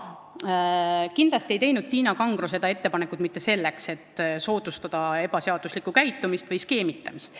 Kindlasti ei teinud Tiina Kangro seda ettepanekut mitte selleks, et soodustada ebaseaduslikku käitumist või skeemitamist.